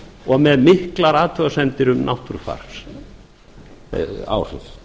og með miklar athugasemdir um náttúrufar og áhrif